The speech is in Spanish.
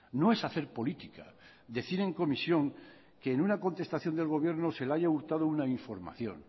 no es hacer política decir en comisión que en una contestación del gobierno se le haya hurtado una información